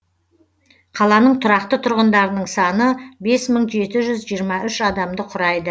қаланың тұрақты тұрғындарының саны бес мың жеті жүз жиырма үш адамды құрайды